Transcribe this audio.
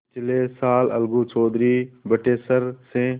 पिछले साल अलगू चौधरी बटेसर से